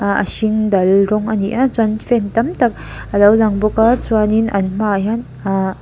hnah hring dal rawng ani a chuan fan tam tak alo lang bawka chuanin an hmaah hian ah--